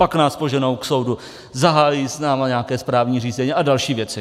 Pak nás poženou k soudu, zahájí s námi nějaké správní řízení a další věci.